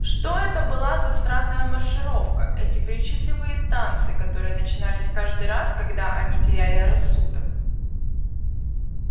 что это была за странная маршировка эти причудливые танцы которые начинались каждый раз когда они теряли рассудок